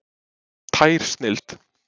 Tær snilld!